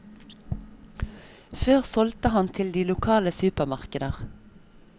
Før solgte han til de lokale supermarkeder.